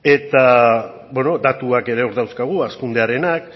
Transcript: eta beno datuak ere hor dauzkagu hazkundearenak